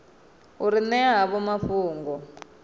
u ri ṅea havho mafhungo